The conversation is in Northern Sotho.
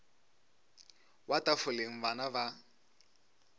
wa tafoleng bana ba a